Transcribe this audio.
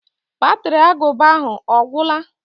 Batri agụba ahụ ọ gwụla?